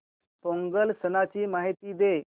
पोंगल सणाची माहिती दे